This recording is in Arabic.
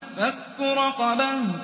فَكُّ رَقَبَةٍ